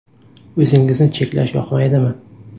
O‘zingizni cheklash yoqmaydimi?